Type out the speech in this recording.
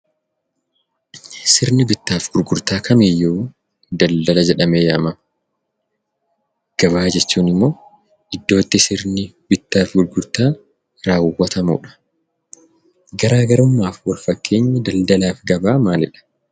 Sirni bittaa fi gurgurtaa kamiiyyuu daldala jedhamee yaamama. Gabaa jechuun immoo iddootti sirni bittaa fi gurgurtaa raawwatamudha. Garaagarummaa fi wal fakkeenyi daldalaa fi gabaa maalidha.